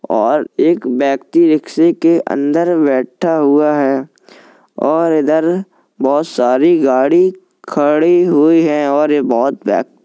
और एक व्यक्ति रिक्शे के अंदर बैठा हुआ है और इधर बहुत सारी गाड़ी खड़ी हुई है और ये बहुत --